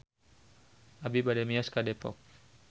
Abi bade mios ka Depok